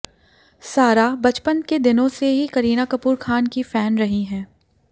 सारा बचपन के दिनों से ही करीना कपूर खान की फैन रही है